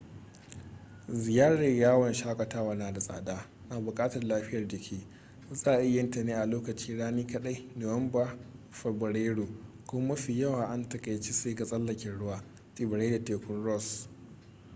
ziyarar yawon shakatawa na da tsada na bukatar lafiyar jiki za a iya yin ta ne a lokacin rani kaɗai nuwamba-fabrairu kuma mafi yawa an taƙaice su ga tsallaken ruwa tsibirai da tekun ross